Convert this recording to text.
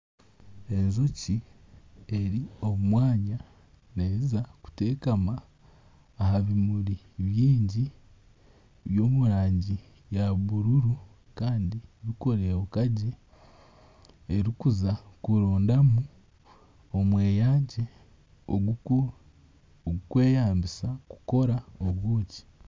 Enjoki eri omu mwanya neza kuteekama aha bimuri bingi by'omu rangi ya bururu kandi birikubeka gye erikuza kuronda omweyangye ogw'okweyambisa kukora obwoki.